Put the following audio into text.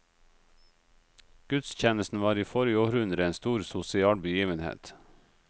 Gudstjenesten var i forrige århundre en stor sosial begivenhet.